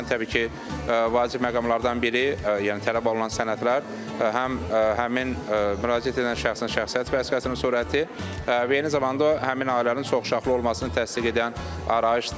Bu zaman təbii ki, vacib məqamlardan biri, yəni tələb olunan sənədlər həm həmin müraciət edən şəxsin şəxsiyyət vəsiqəsinin surəti, eyni zamanda həmin ailənin çoxuşaqlı olmasını təsdiq edən arayışdır.